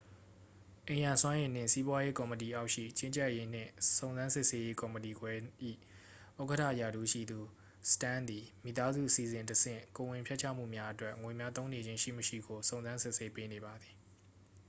အိမ်ရာစွမ်းအင်နှင့် စီးပွားရေး ကော်မတီအောက်ရှိ ကြီးကြပ်ရေးနှင့် စုံစမ်းစစ်ဆေးရေး ကော်မတီခွဲ၏ ဥက္ကဌ ရာထူးရှိသူ စတန်းသည် မိသားစုအစီအစဉ်တဆင့် ကိုယ်ဝန်ဖျက်ချမှုများအတွက် ငွေများ သုံးနေခြင်း ရှိမရှိကို စုံစမ်းစစ်ဆေးပေးနေပါသည်